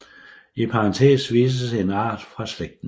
I parentes vises en art fra slægten